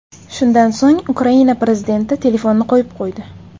Shundan so‘ng Ukraina prezidenti telefonni qo‘yib qo‘ydi.